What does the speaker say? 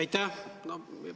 Aitäh!